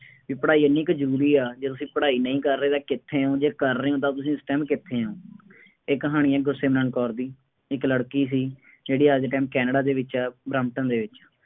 ਬਈ ਪੜ੍ਹਾਈ ਐਨੀ ਕੁ ਜ਼ਰੂਰੀ ਹੈ, ਜੇ ਤੁਸੀਂ ਪੜ੍ਹਾਈ ਨਹੀਂ ਕਰ ਰਹੇ ਤਾਂ ਕਿੱਥੇ ਹੋ, ਜੇ ਕਰ ਰਹੇ ਹੋ ਤਾਂ ਤੁਸੀਂ ਉਸ time ਕਿੱਥੇ ਹੋ। ਇਹ ਕਹਾਣੀ ਹੈ ਗੁਰਸਿਮਰਨ ਕੌਰ ਦੀ, ਇੱਕ ਲੜਕੀ ਸੀ, ਜਿਹੜੀ ਅੱਜ ਦੇ time ਕੇਨੈਡਾ ਦੇ ਵਿੱਚ ਹੈ, ਬਰੈਂਪਟਨ ਦੇ ਵਿੱਚ।